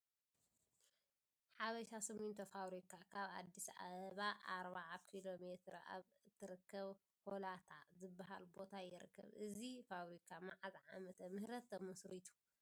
ሀበሻ ስሚንቶ ፋብሪካ ካብ ኣዲስ ኣበባ 40 ኪሎ ሜትር ኣብ ትርከብ ሆለታ ዝበሃል ቦታ ይርከብ፡፡ እዚ ፋብሪካ መዓዝ ዓመተ ምህረት ተመስሪቱ፡፡